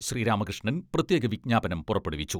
ശ്രീരാമ കൃഷ്ണൻ പ്രത്യേക വിജ്ഞാപനം പുറപ്പെടുവിച്ചു.